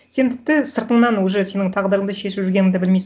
сен тіпті сыртыңнан уже сенің тағдырыңды шешіп жүргенін де білмейсің